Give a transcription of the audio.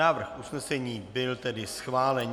Návrh usnesení tedy byl schválen.